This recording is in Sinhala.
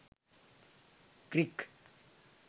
crick